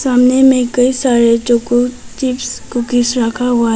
सामने में कई सारे चोको चिप्स कुकीज रखा हुआ हैं।